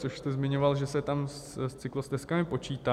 Což jste zmiňoval, že se tam s cyklostezkami počítá.